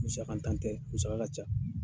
Musakantan tɛ musa ka ca.